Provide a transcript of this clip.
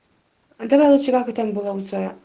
давай лучше как ты там было у тебя